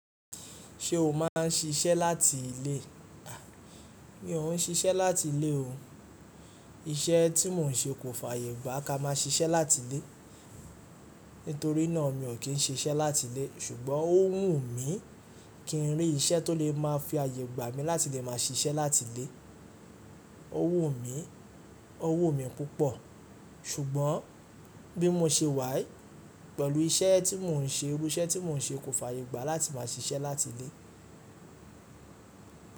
Ṣé o máà ń ṣiṣẹ́ láti ilé? Mi ò ń ṣiṣẹ́ láti ilé o. Iṣẹ́ tí mò ń ṣe kò fàyè gbá ká má ṣiṣẹ́ láti ilé. Nítorínà mi ò kí ń ṣe iṣẹ́ láti ilé ṣùgbọ́n ó wù mí kí ń rí iṣẹ́ tó lè má fi àyè gbàá mi láti lè máa ṣiṣẹ́ láti ilé. Ó wù mí, ó wù mí púpọ̀ ṣùgbọ́n bí mo ṣe wàyii pẹ̀lú iṣẹ́ tí mò ń ṣe, irú iṣẹ́ tí mò ń ṣe kò fàyè gbá láti má ṣiṣẹ́ láti ilé.